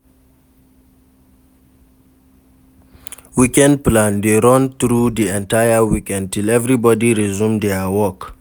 Weekend plan de run through di entire weekend till everybody resume their work.